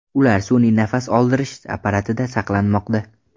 Ular sun’iy nafas oldirish apparatida saqlanmoqda.